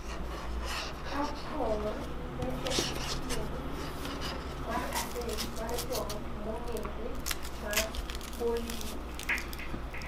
Kapoor ne en tieng ' mar adek mar joot mong`ere mar Bollywood.